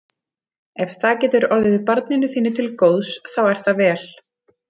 Ef það getur orðið barninu þínu til góðs þá er það vel.